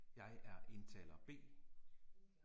Jeg er indtaler B